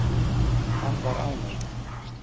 Hann var ánægður.